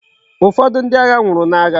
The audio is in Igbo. Ufodu ndi agha nwuru na agha